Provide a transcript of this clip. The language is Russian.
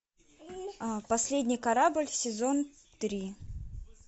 последний корабль сезон три